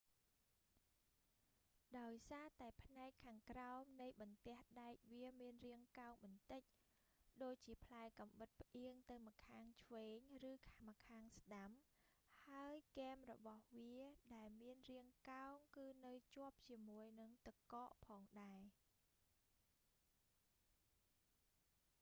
ដោយសារតែផ្នែកខាងក្រោមនៃបន្ទះដែកវាមានរាងកោងបន្តិច ដូចជាផ្លែកាំបិតផ្អៀងទៅម្ខាងឆ្វេងឬម្ខាងស្តាំ ហើយគែមរបស់វាដែលមានរាងកោងគឺនៅជាប់ជាមួយនឹងទឹកកកផងដែរ